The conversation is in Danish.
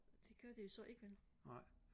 det gør det så ikke vel